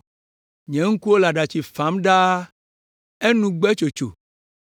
Nye ŋkuwo le aɖatsi fam ɖaa, enu gbe tsotso,